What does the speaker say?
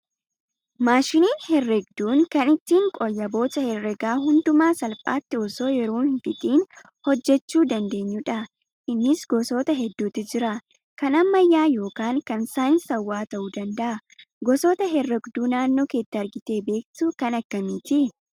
Maashiniin herreegduun kan ittiin qooyyaboota herreegaa hundumaa salphaatti osoo yeroo hin fixiin hojjachuu dandeenyudha. Innis gosoota hedduutu jira. Kan ammayyaa yookaan kan saayinsawaa ta'uu danda'a. Gosoota herreegduu naannootti argitee beektu kan akkamiiti?